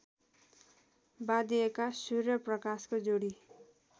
वाँधिएका सूर्यप्रकाशको जोडी